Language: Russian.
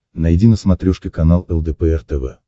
найди на смотрешке канал лдпр тв